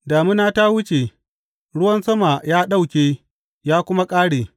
Damina ta wuce; ruwan sama ya ɗauke ya kuma ƙare.